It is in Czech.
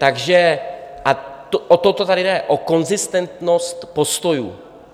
Takže o to tady jde - o konzistentnost postojů.